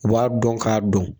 U b'a dɔn k'a dɔn